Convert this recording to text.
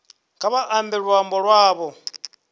kha vha ambe luambo lwavho